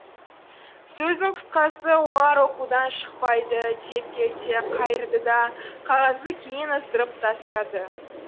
сөздің қысқасы олар оқудан шықпайды деп келте қайырды да қағазды кейін ысырып тастады